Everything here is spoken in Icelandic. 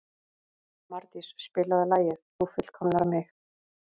Mardís, spilaðu lagið „Þú fullkomnar mig“.